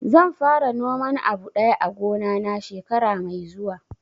Zan fara noman abu daya a gona na shekara mai zuwa